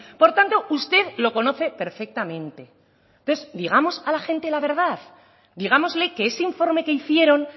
por tanto usted lo conoce perfectamente entonces digamos a la gente la verdad digámosle que ese informe que hicieron